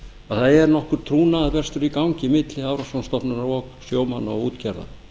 að það er nokkur trúnaðarbrestur í gangi milli hafrannsóknastofnunar og sjómanna og útgerðar